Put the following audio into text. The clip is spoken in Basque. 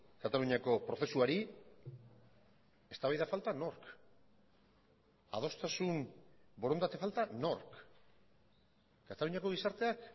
kataluniako prozesuari eztabaida falta nork adostasun borondate falta nork kataluniako gizarteak